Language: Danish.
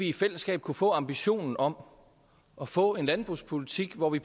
i fællesskab kunne få ambitionen om at få en landbrugspolitik hvor vi